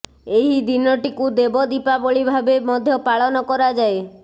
ଏହି ଦିନଟିକୁ ଦେବ ଦୀପାବଳି ଭାବେ ମଧ୍ୟ ପାଳନ କରାଯାଏ